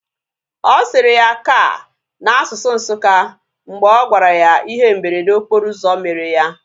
Ọ sịrị ya "ka" na asụsụ Nsukka mgbe ọ gwara ya ihe mberede okporo ụzọ mere ya